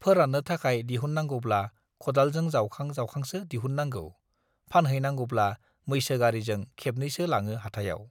फोराननो थाखाय दिहुननांगौब्ला खदालजों जाउखां जाउखांसो दिहुननांगौ, फानहैनांगौब्ला मैसो गारिजों खेबनैसो लाङो हाथायाव